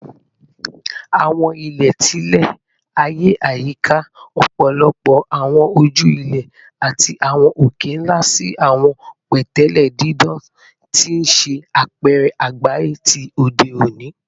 Awọn ilẹ ti ilẹ-aye yika ọpọlọpọ awọn oju-ilẹ, lati awọn oke-nla si awọn pẹtẹlẹ didan, ti n ṣe apẹrẹ agbaye ti ode oni.